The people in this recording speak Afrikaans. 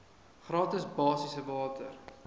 gratis basiese water